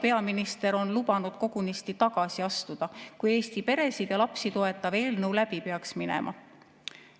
Peaminister on lubanud kogunisti tagasi astuda, kui Eesti peresid ja lapsi toetav eelnõu läbi peaks minema.